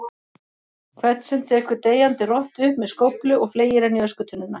hvern sem tekur deyjandi rottu upp með skóflu og fleygir henni í öskutunnuna.